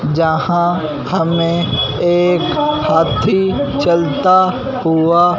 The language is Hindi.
जहां हमे एक हाथी चलता हुआ--